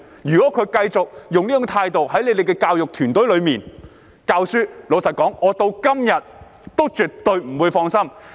如果他們繼續用這樣的態度，留在教育團隊內教學，老實說，我直到今天也絕對不會放心。